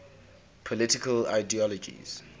political ideologies